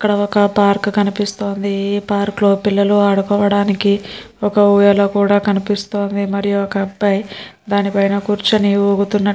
ఇక్కడ ఒక పార్క్ కనిపిస్తుంది ఈ పార్క్ లో పిల్లలు ఆడుకోవడానికి ఒక ఊయల కూడా కనిపిస్తుంది మరి ఒక అబ్బాయ్ దాని మీద కూర్చుని ఊగుతున్నట్టుగా --